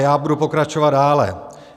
Já budu pokračovat dále.